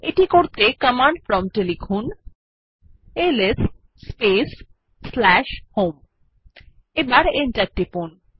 এটি করতে command prompt এ লিখুন এলএস স্পেস হোম এবং এন্টার টিপুন